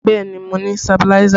Bẹẹ ni, mo ní sabiláísà